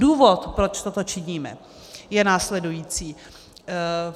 Důvod, proč toto činíme, je následující.